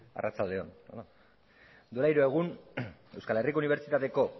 arratsalde on duela hiru egun euskal herriko unibertsitateko